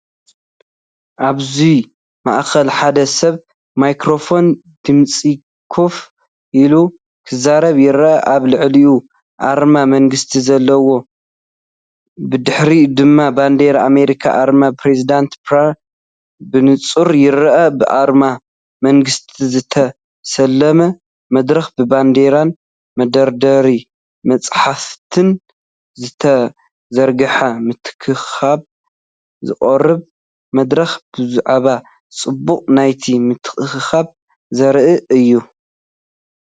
ኣብዚ ማእከል ሓደ ሰብ ማይክረፎን ድምጺኮፍ ኢሉ ክዛረብ ይረአ። ኣብ ልዕሊኡኣርማ መንግስቲ ዘለዎ ኣሎ፡ብድሕሪኡ ድማ ባንዴራ ኣሜሪካን ኣርማ ፕረዚደንትን ብንጹር ይርአ። ብኣርማ መንግስቲ ዝተሰለመ መድረኽ፡ብባንዴራን መደርደሪ መጻሕፍትን ዝተዘርግሐ ምትእኽኻብ ዝቐርብ መደረ፡ብዛዕባ ጽባቐ ናይቲ ምትእኽኻብ ዘርኢ እዩ።